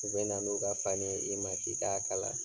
U bɛ na n'u ka fani ye i ma k'i k'a kala.